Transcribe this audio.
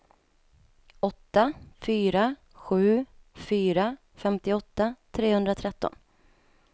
åtta fyra sju fyra femtioåtta trehundratretton